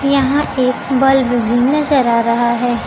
यहां एक बल्ब भी नजर आ रहा है।